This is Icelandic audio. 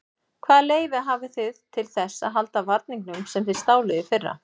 Hvaða leyfi hafið þið til þess að halda varningnum sem þið stáluð í fyrra?